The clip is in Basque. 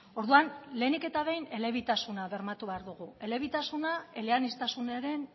orduan lehenik eta behin elebitasuna bermatu behar dugu elebitasuna eleaniztasunaren